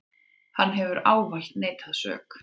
Hann hefur ávallt neitað sök.